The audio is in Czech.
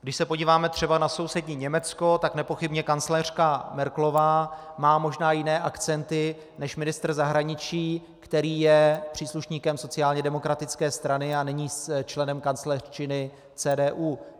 Když se podíváme třeba na sousední Německo, tak nepochybně kancléřka Merkelová má možná jiné akcenty než ministr zahraničí, který je příslušníkem sociálně demokratické strany a není členem kancléřčiny CDU.